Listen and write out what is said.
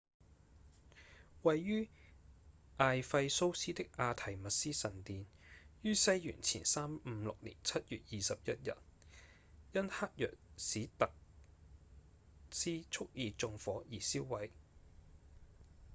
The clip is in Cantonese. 位於艾費蘇斯的阿緹密絲神殿於西元前356年7月21日因黑若史達特斯蓄意縱火而燒毀